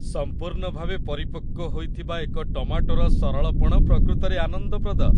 ସମ୍ପୂର୍ଣ୍ଣ ଭାବେ ପରିପକ୍ୱ ହୋଇଥିବା ଏକ ଟମାଟୋର ସରଳପଣ ପ୍ରକୃତରେ ଆନନ୍ଦପ୍ରଦ।